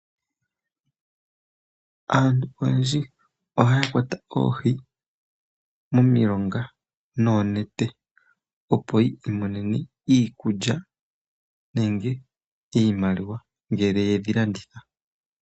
Aantu oyendji ohaya kwata oohi momilonga noonete, opo ya mone iikulya nenge iimaliwa ngele yedhi landitha.